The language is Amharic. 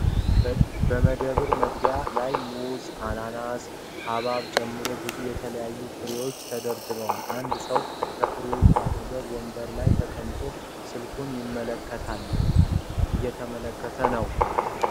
በመደብር መግቢያ ላይ ሙዝ፣ አናናስና ሐብሐብን ጨምሮ ብዙ የተለያዩ ፍራፍሬዎች ተደርድረዋል። አንድ ሰው ከፍራፍሬዎቹ አጠገብ ወንበር ላይ ተቀምጦ ስልኩን ይመለከታል።